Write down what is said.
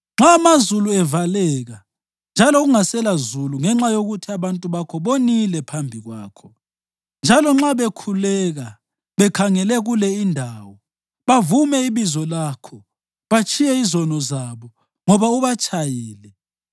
Nxa amazulu evaleka njalo kungaselazulu ngenxa yokuthi abantu bakho bonile phambi kwakho, njalo nxa bekhuleka bekhangele kule indawo bavume ibizo lakho batshiye izono zabo ngoba ubatshayile,